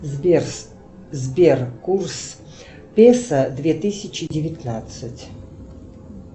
сбер сбер курс песо две тысячи девятнадцать